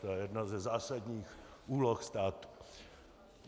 To je jedna ze zásadních úloh státu.